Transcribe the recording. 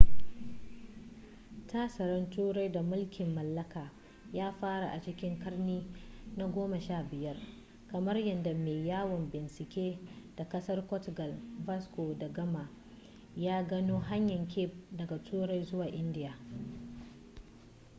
tasirin turai da mulkin mallaka ya fara a cikin karni na 15 kamar yadda mai yawon bincike ɗan ƙasar ƙortugal vasco da gama ya gano hanyar cape daga turai zuwa india